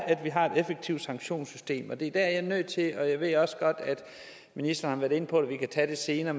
at vi har et effektivt sanktionssystem og det er der jeg er nødt til og jeg ved også godt at ministeren har været inde på at vi kan tage det senere